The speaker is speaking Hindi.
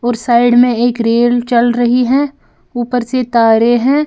और साइड में एक रेल चल रही है ऊपर से तारे हैं।